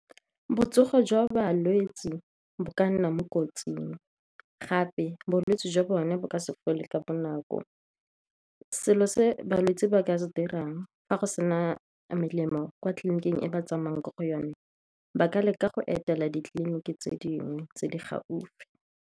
Botsogo jwa balwetse ba ka nna mo kotsing gape bolwetse jwa bone bo ka se fole ka bonako. Selo se balwetse ba ka se dirang fa go sena melemo kwa tleliniking e ba tsamaya ko go yone ba ka leka go etela ditleliniki tse dingwe tse di gaufi.